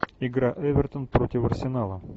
игра эвертон против арсенала